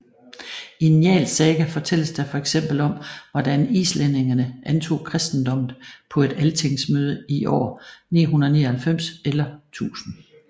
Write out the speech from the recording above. I Njálls saga fortælles der fx om hvordan islændingene antog kristendommen på et Altingsmøde i år 999 eller 1000